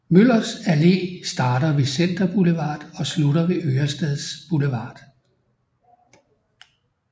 Møllers Allé starter ved Center Boulevard og slutter ved Ørestads Boulevard